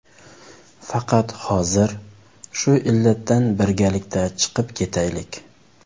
Faqat hozir shu illatdan birgalikda chiqib ketaylik.